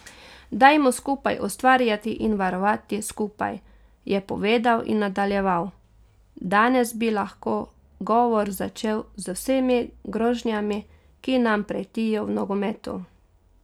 Dajmo skupaj ustvarjati in varovati skupaj,' je povedal in nadaljeval: 'Danes bi lahko govor začel z vsemi grožnjami, ki nam pretijo v nogometu.